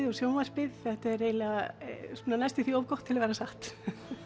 og sjónvarpið þetta er næstum því of gott til að vera satt